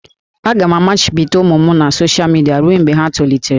Aga m amachibido ụmụ m na soshal midia ruo mgbe ha tolitere